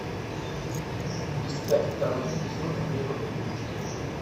искать второй эпизод время приключений